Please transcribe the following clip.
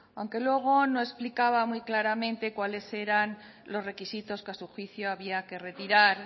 aunque luego no explicaba muy claramente cuáles eran los requisitos que a su juicio había que retirar